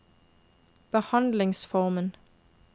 behandlingsformen